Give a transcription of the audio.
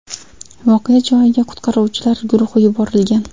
Voqea joyiga qutqaruvchilar guruhi yuborilgan.